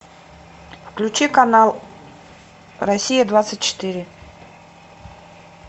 включи канал россия двадцать четыре